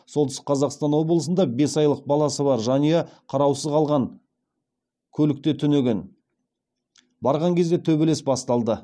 солтүстік қазқстан облысында бес айлық баласы бар жанұя қараусыз қалған көлікте түнеген барған кезде төбелес басталды